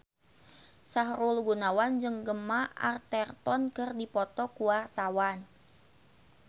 Sahrul Gunawan jeung Gemma Arterton keur dipoto ku wartawan